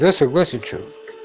я согласен что